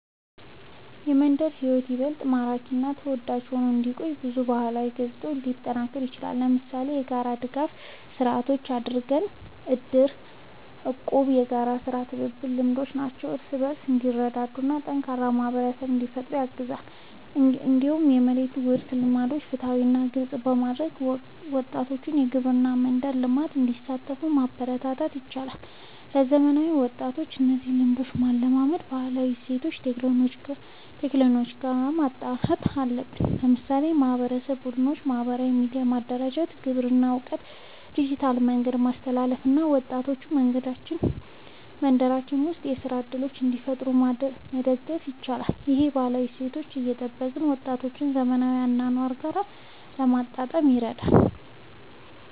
የመንደር ሕይወት ይበልጥ ማራኪ እና ተወዳጅ ሆኖ እንዲቆይ ብዙ ባህላዊ ገጽታዎች ሊጠናከሩ ይችላሉ። ለምሳሌ የጋራ ድጋፍ ስርዓቶች እንደ እድር፣ እቁብ እና የጋራ የሥራ ትብብር ልምዶች ሰዎች እርስ በርስ እንዲረዳዱ እና ጠንካራ ማህበረሰብ እንዲፈጠር ያግዛሉ። እንዲሁም የመሬት ውርስ ልምዶችን ፍትሃዊ እና ግልጽ በማድረግ ወጣቶች በግብርና እና በመንደር ልማት እንዲሳተፉ ማበረታታት ይቻላል። ለዘመናዊ ወጣቶች እነዚህን ልምዶች ለማላመድ ባህላዊ እሴቶችን ከቴክኖሎጂ ጋር ማጣመር አለብን። ለምሳሌ የማህበረሰብ ቡድኖችን በማህበራዊ ሚዲያ ማደራጀት፣ የግብርና እውቀትን በዲጂታል መንገድ ማስተላለፍ እና ወጣቶች በመንደራቸው ውስጥ የሥራ እድሎችን እንዲፈጥሩ መደገፍ ይቻላል። ይህ ባህላዊ እሴቶችን እየጠበቀ ወጣቶችን ከዘመናዊ አኗኗር ጋር ለማጣጣም ይረዳል።